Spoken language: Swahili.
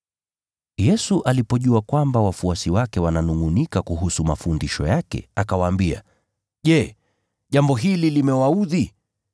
Yesu alipojua kwamba wafuasi wake wananungʼunika kuhusu mafundisho yake, akawaambia, “Je, jambo hili limewaudhi?